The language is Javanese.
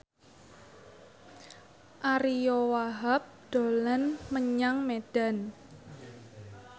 Ariyo Wahab dolan menyang Medan